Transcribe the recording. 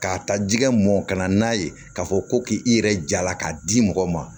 K'a ta jɛgɛ mɔ ka na n'a ye k'a fɔ ko k'i yɛrɛ jala k'a di mɔgɔ ma